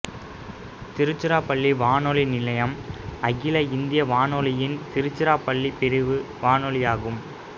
திருச்சிராப்பள்ளி வானொலி நிலையம் அகில இந்திய வானொலியின் திருச்சிராப்பள்ளி பிரிவு வானொலியாகும்